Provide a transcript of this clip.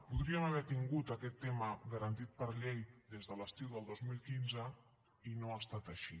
podríem haver tingut aquest tema garantit per llei des de l’estiu del dos mil quinze i no ha estat així